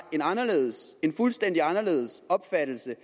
en fuldstændig anderledes opfattelse